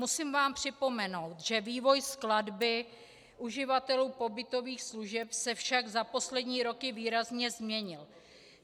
Musím vám připomenout, že vývoj skladby uživatelů pobytových služeb se však za poslední roky výrazně změnil.